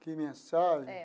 Que mensagem? É.